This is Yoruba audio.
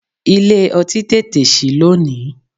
Ilé ọtí tètè sí lónìí.